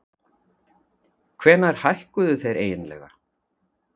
Hvenær hækkuðu þeir eiginlega?